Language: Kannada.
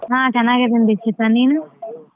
ಹಾ ಚೆನ್ನಾಗಿದ್ದೀನಿ ದೀಕ್ಷಿತಾ ನೀನು?